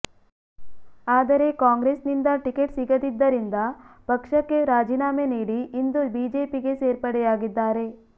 ಆದರೆ ಕಾಂಗ್ರೆಸ್ ನಿಂದ ಟಿಕೆಟ್ ಸಿಗದಿದ್ದರಿಂದ ಪಕ್ಷಕ್ಕೆ ರಾಜಿನಾಮೆ ನೀಡಿ ಇಂದು ಬಿಜೆಪಿಗೆ ಸೇರ್ಪಡೆಯಾಗಿದ್ದಾರೆ